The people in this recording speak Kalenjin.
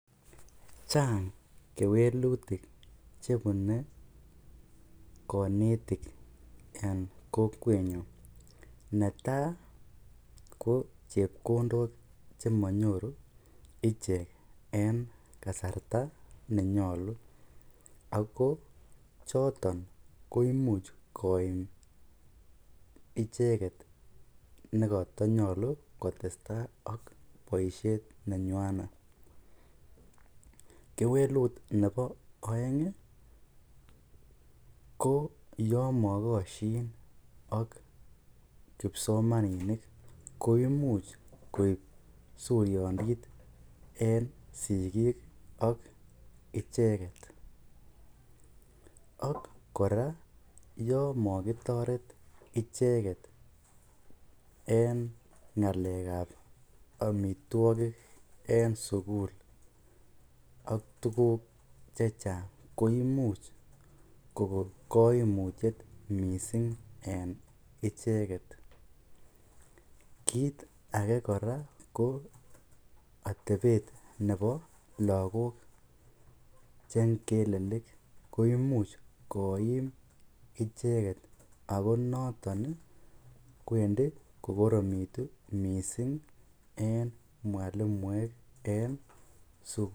Chang kewelutik chebune konetik en kokwenyun, netaa ko chepkondok chemonyoru ichek en kasarta nenyolu ak ko choton koimuch koyum icheket nekotonyolu kotesta ak boishet nenywanet, kewelut nebo oeng ko yoon mokoshin kipsomaninik koimuch koib suriondit en sikik ak icheket, ak kora yoon mokitoret icheket en ngalekab amitwokik en sukul ak tukuk chechang koimuch kokoo koimutiet mising en icheket, kiit akee kora ko atebet nebo lokok che ngelelik koimuch koim icheket ak ko noton kwendi kokoromitu en mwalimuek en sukul.